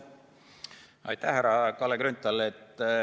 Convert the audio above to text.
Aitäh, härra Kalle Grünthal!